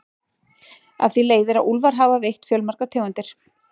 Af því leiðir að úlfar hafa veitt fjölmargar tegundir.